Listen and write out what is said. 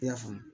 I y'a faamu